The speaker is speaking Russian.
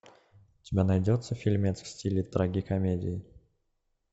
у тебя найдется фильмец в стиле трагикомедии